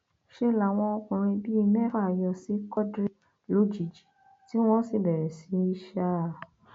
ṣe làwọn ọkùnrin bíi mẹfà yọ sí quadri lójijì tí wọn sì bẹrẹ sí í ṣá a